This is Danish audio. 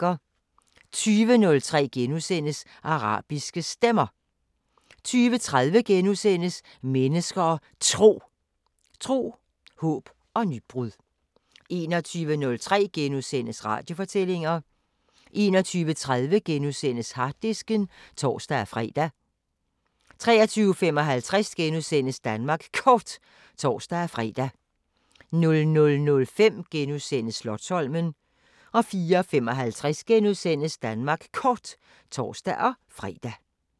20:03: Arabiske Stemmer * 20:30: Mennesker og Tro: Tro, håb og nybrud * 21:03: Radiofortællinger * 21:30: Harddisken *(tor-fre) 23:55: Danmark Kort *(tor-fre) 00:05: Slotsholmen * 04:55: Danmark Kort *(tor-fre)